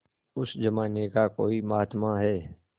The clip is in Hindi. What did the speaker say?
उस जमाने का कोई महात्मा है